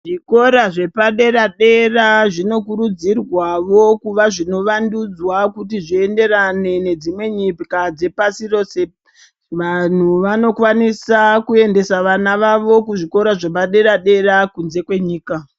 Zvikora zvepadera-dera zvinokurudzirwavo kuva zvinovandudzwa kuti zvienderane nedzimwe nyika dzepasi rose. Vanhu vanokwanisa kuendesa vana vavo kuzvikora zvepadera-dera kunze kwenyika.